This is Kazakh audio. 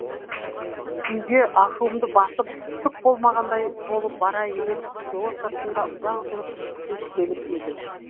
үйге ашуымды басып түк болмағандай болып барайын деп село сыртында ұзақ жүріп кеш келіп едім